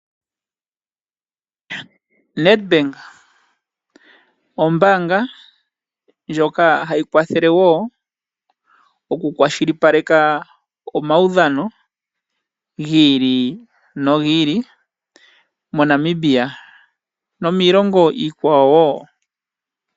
Nedbank ombaanga ndjoka hayi kwathela woo okukwashili paleka omawudhano giili nogiili moNamibia nomiilongo iikwawo woo.